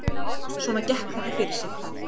Svona gekk þetta fyrir sig